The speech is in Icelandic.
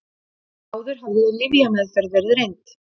Áður hafði lyfjameðferð verið reynd